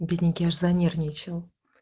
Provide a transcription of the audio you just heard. бедненький аж занервничал